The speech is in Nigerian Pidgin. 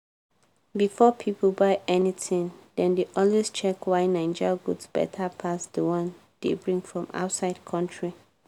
before pipo buy anything dem dey always check why naija goods beta pass d one dey bring from outside country.